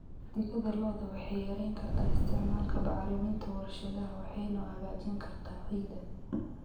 Digada lo'da waxay yarayn kartaa isticmaalka bacriminta warshadaha waxayna hagaajin kartaa ciidda.